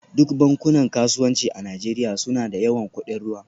Duk bankunan kasuwanci a Najeriya suna da yawan kudin ruwa